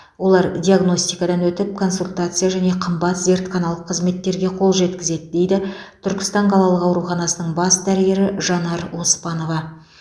олар диагностикадан өтіп консультация және қымбат зертханалық қызметтерге қол жеткізеді дейді түркістан қалалық ауруханасының бас дәрігері жанар оспанова